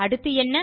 அடுத்து என்ன